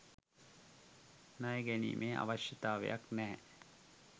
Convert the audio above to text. ණය ගැනීමේ අවශ්‍යතාවයක් නෑ